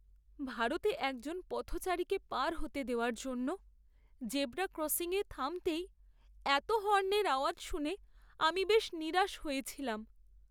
ভারতে একজন পথচারীকে পার হতে দেওয়ার জন্য জেব্রা ক্রসিংয়ে থামতেই এতো হর্নের আওয়াজ শুনে আমি বেশ নিরাশ হয়েছিলাম!